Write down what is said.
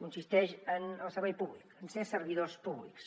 consisteix en el servei públic en ser servidors públics